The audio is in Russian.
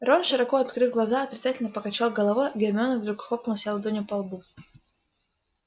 рон широко открыв глаза отрицательно покачал головой а гермиона вдруг хлопнула себя ладонью по лбу